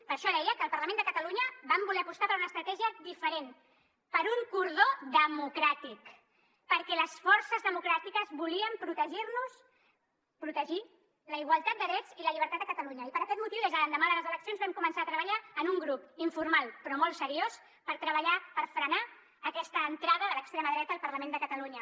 per això deia que al parlament de catalunya vam voler apostar per una estratègia diferent per un cordó democràtic perquè les forces democràtiques volíem protegir nos protegir la igualtat de drets i la llibertat de catalunya i per aquest motiu des de l’endemà de les eleccions vam començar a treballar en un grup informal però molt seriós per treballar per frenar aquesta entrada de l’extrema dreta al parlament de catalunya